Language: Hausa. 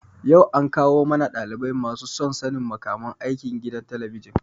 yau an kawo mana ɗalibai masu son sanin makaman aiki gidan talabijin.